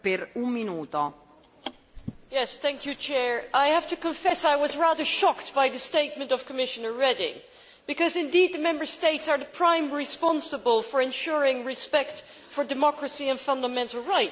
Madam President, I have to confess I was rather shocked by the statement of Commissioner Reding because, indeed, the Member States are primarily responsible for ensuring respect for democracy and fundamental rights.